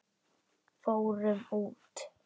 Fórum út!